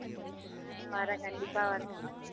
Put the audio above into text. அஹ் வரேன் கண்டிப்பா வரேன்